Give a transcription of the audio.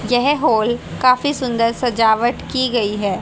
यह हॉल काफी सुंदर सजावट की गई है।